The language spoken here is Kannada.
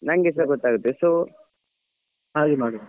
ನಂಗೆಸ ಗೊತ್ತಾಗ್ತದೆ so ಹಾಗೆ ಮಾಡುವ.